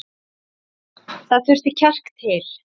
Það þurfti kjark til.